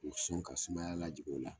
K'o sɔn ka sumaya lajigin o la.